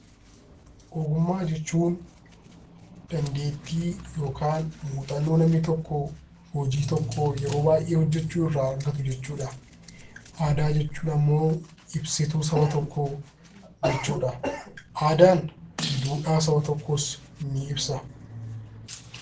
Ogummaa jechuun dandeettii yookaan muuxannoo namni tokko hojii tokko yeroo baay'ee hojjechuun irraa argatu jechuudha. Aadaa jechuun immoo ibsituu saba tokkoo jechuudha. Aadaan duudhaa saba tokkoos ni ibsa.